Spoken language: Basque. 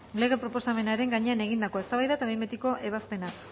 lege proposamenaren gainean egindakoa eztabaida eta behin betiko ebazpena